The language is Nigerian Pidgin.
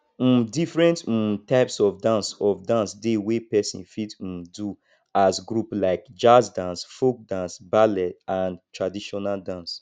um different um types of dance of dance dey wey person fit um do as group like jazz dance folk dance ballet and traditional dance